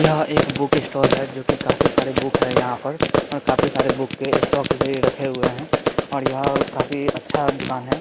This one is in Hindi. यह एक बुक स्टाल है जो की काफी सारे बुक है यहां पर और काफी सारे बुक के स्टॉक र-रखे हुए है और यह काफी अच्छा दुकान है।